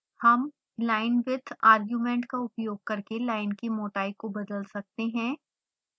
हम linewidth argument का उपयोग करके लाइन की मोटाई को बदल सकते हैं